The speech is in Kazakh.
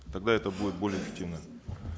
тогда это будет более эффективно